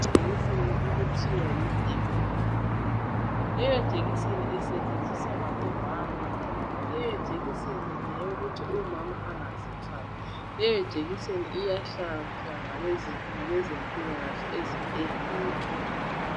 Ijekiseni okuthiwa yi Depro vera. Leyo jekiseni isetshenziswa ngabomama. Leyo jekiseni ngeyokuthi umama engazithwali. Iyahlatshwa ngabezempilakahle ezibhedlela.